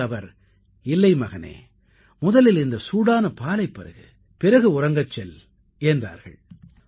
அதற்கு அவர்கள் இல்லை மகனே முதலில் இந்த சூடான பாலைப் பருகு பிறகு உறங்கச் செல் என்றார்கள்